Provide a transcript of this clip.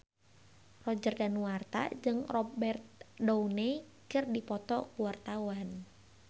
Roger Danuarta jeung Robert Downey keur dipoto ku wartawan